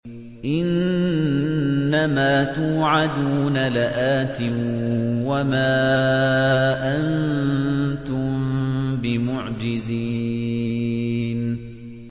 إِنَّ مَا تُوعَدُونَ لَآتٍ ۖ وَمَا أَنتُم بِمُعْجِزِينَ